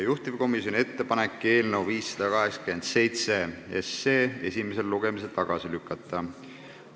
Juhtivkomisjoni ettepanek on eelnõu 587 esimesel lugemisel tagasi lükata.